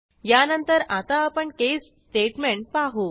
यानंतर आता आपण केस स्टेटमेंट पाहू